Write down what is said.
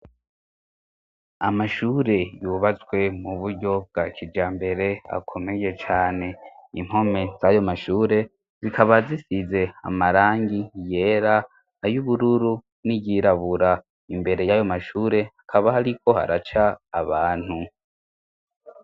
Amashure yubatswe mu buryo bwa kijambere, akomeye cane, impome z'ayo mashure zikaba zisize amarangi yera, ay'ubururu, n'iyirabura, imbere y'ayo mashure haba hariko haraca abantu.